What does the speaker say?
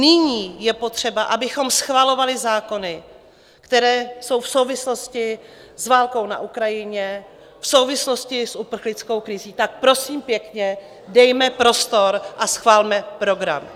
Nyní je potřeba, abychom schvalovali zákony, které jsou v souvislosti s válkou na Ukrajině, v souvislosti s uprchlickou krizí, tak prosím pěkně, dejme prostor a schvalme program.